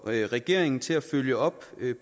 regeringen til at følge op